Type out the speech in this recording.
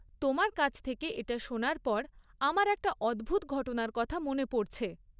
তোমার কাছ থেকে এটা শোনার পর আমার একটা অদ্ভুত ঘটনার কথা মনে পড়ছে।